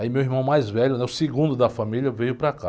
Aí meu irmão mais velho, né? O segundo da família, veio para cá.